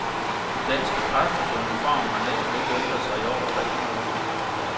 De danske præsters uniform har næsten ikke ændret sig i over tre hundrede år.